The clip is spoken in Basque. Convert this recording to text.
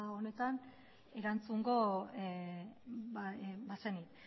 honetan erantzungo bazeni